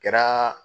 Kɛra